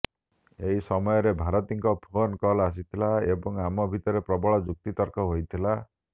ଏହି ସମୟରେ ଭାରତୀଙ୍କ ଫୋନ୍ କଲ ଆସିଥିଲା ଏବଂ ଆମ ଭିତରେ ପ୍ରବଳ ଯୁକ୍ତିତର୍କ ହୋଇଥିଲା